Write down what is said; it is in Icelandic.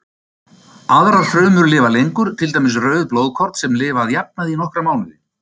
Aðrar frumur lifa lengur, til dæmis rauð blóðkorn sem lifa að jafnaði í nokkra mánuði.